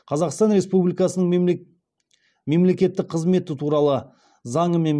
қазақстан республикасының мемлекеттік қызметі туралы заңымен